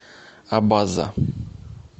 абаза